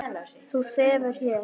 Þú sefur hér.